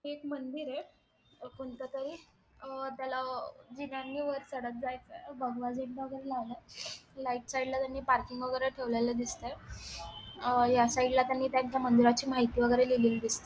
हे एक मंदिर ये कोणतातरी त्याला जिन्याने वर चडत जायचंय भगवा झेंडा वगेरे लावलाय राइट साइड ला त्यांनी पार्किंग वगेरे ठेवलेल दिसते या साइड ला त्यांनी त्यांच्या मंदिराची माहिती वगैरे लिहिलीय दिसती.